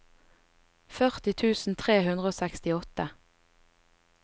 førti tusen tre hundre og sekstiåtte